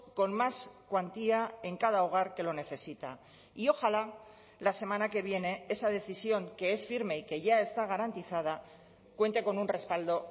con más cuantía en cada hogar que lo necesita y ojalá la semana que viene esa decisión que es firme y que ya está garantizada cuente con un respaldo